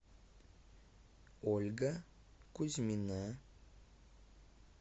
ольга кузьмина